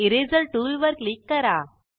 eraser tool वर click करा